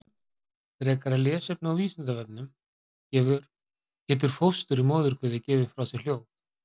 Frekara lesefni á Vísindavefnum: Getur fóstur í móðurkviði gefið frá sér hljóð?